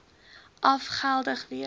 af geldig wees